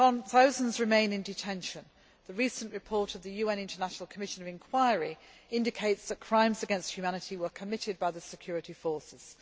Thousands remain in detention. The recent report of the UN International Commission of Inquiry indicates that crimes against humanity were committed by the security forces.